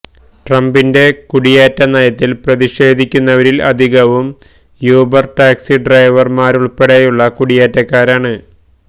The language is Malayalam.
ട്രംപിന്റെ കുടിയേറ്റ നയത്തില് പ്രതിഷേധിക്കുന്നവരില് അധികവും യൂബര് ടാക്സി ഡ്രൈവര്മാരുല്പ്പെടെയുള്ള കുടിയേറ്റക്കാരാണ്